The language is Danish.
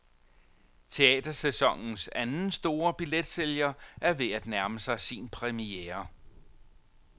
Teatersæsonens anden store billetsælger er ved at nærme sig sin premiere.